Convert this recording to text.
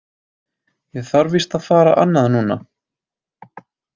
Ég þarf víst að fara annað núna.